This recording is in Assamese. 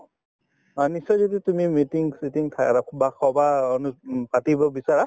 অ, নিশ্চয় যদি তুমি meeting চিটিং বা সভা অনুস উম পাতিব বিচৰা